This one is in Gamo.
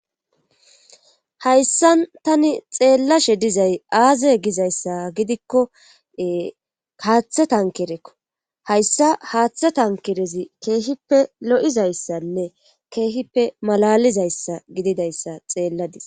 hayssan tani xeellashe dizay aaze gizayssa gidikkoe kaaththa tankerekko hayssa haaththa tankerezi keehippe lo7izayssanne keehippe malalizayssa gididayssa xeelladis